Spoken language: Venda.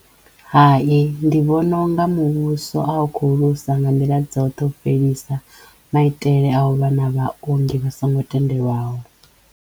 Hai. Ndi vhona u nga muvhuso a u kho luza nga nḓila dzoṱhe u fhelisa maitele a u vha na vhaongi vha songo tendelwaho.